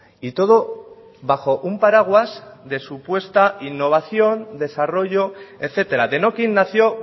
y todo bajo un paraguas de supuesta innovación desarrollo etcétera denokinn nació